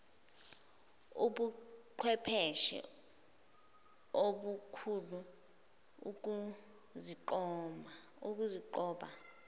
ubuqhwepheshe obukhulu ukuzinqoba